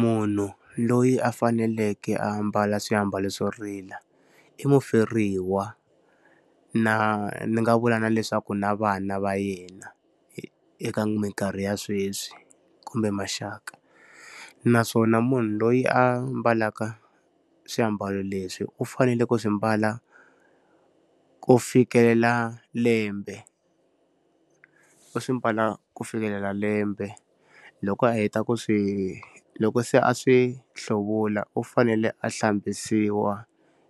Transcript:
Munhu loyi a faneleke ambala swiambalo swo rila i muferiwa, na ni nga vula na leswaku na vana va yena eka minkarhi ya sweswi kumbe maxaka. Naswona munhu loyi a mbalaka swiambalo leswi u fanele ku swi mbala ku fikelela lembe. U swi mbala ku fikelela lembe, loko a heta ku swi loko se a swi hluvula u fanele a hlambisiwa